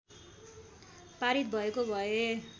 पारित भएको भए